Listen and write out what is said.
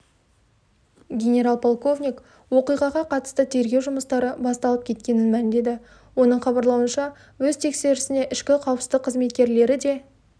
генерал-полковник оқиғаға қатысты тергеу жұмыстары басталып кеткенін мәлімдеді оның хабарлауынша өз тексерісіне ішкі қауіпсіздік қызметкерлері де